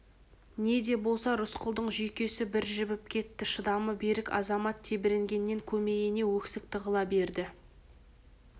не де болса рысқұлдың жүйкесі бір жібіп кетті шыдамы берік азамат тебіренгеннен көмейіне өксік тығыла берді